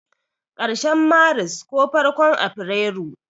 karshen Maris ko farkon afirairu.